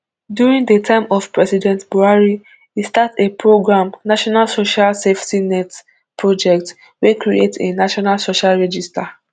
during di time of president buhari e start a program national social safety nets project wey create a national social register